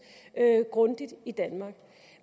grundigt i danmark